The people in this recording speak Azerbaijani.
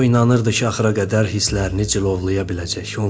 O inanırdı ki, axıra qədər hisslərini cilovlaya biləcək.